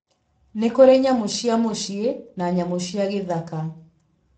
Nĩ kũrĩ nyamũ cia mũcĩĩ na nyamũ cia gĩthaka.